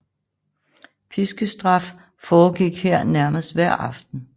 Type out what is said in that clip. Piskestraf foregik her nærmest hver aften